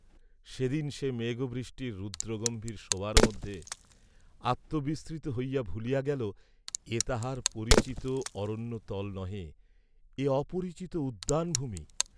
সেদিন সে মেঘবৃষ্টির রুদ্রগম্ভীর শোভার মধ্যে আত্মবিস্মৃত হইয়া ভুলিয়া গেল এ তাহার পরিচিত অরণ্যতল নহে, এ অপরিচিত উদ্যানভূমি।